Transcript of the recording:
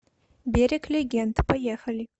берег легенд поехали